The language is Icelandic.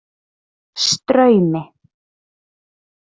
Straumi